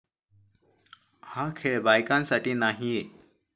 हा खेळ बायकांसाठी नाहीये.